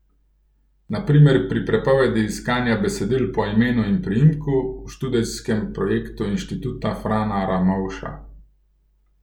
Na primer pri prepovedi iskanja besedil po imenu in priimku v študijskem projektu inštituta Frana Ramovša.